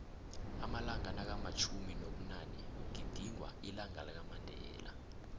amalanga nakamtjhumi nobunanekugizingwa ilanqalakamandela